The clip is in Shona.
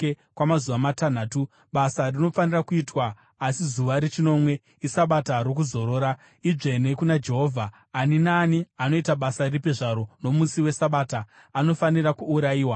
Kwamazuva matanhatu, basa rinofanira kuitwa, asi zuva rechinomwe iSabata rokuzorora, idzvene kuna Jehovha. Ani naani anoita basa ripi zvaro nomusi weSabata anofanira kuurayiwa.